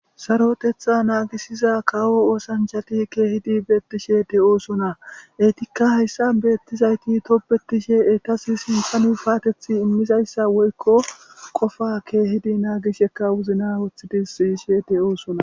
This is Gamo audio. Sarotetha naagisiza kawo oosanchati keehidi beettishe de oosona eytikka hayssan beettizayti topbetishe etas simpanuu faatethi immizayssa woykko qofa keehidi naagisheka wuzna woththidis siishe de oosona.